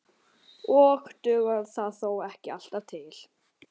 Og dugar það þó ekki alltaf til.